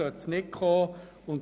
Dazu sollte es nicht kommen.